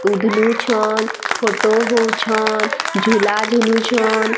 ଉଧ୍‌ ଲୁ ଛନ୍‌ ଫଟୋ ହଉଛନ୍‌ ଝୁଲା ଝୁଲୁଛନ୍‌ ବୁଟ୍‌--